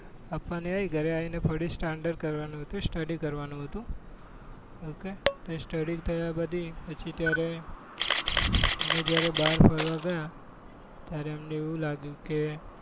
આપવા ની આવી ઘરે આવી ને ફરી standard કરવા નું હતું study કરવા નું હતું ok તો એ study કર્યા બધી પછી ત્યારે અમે જયારે બાર ફરવા ગયા ત્યારે અમને એવું લાગ્યું કે